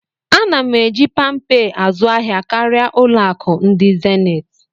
A na m eji Pâmpé azụahịa karịa Ụlọ akụ ndị zenith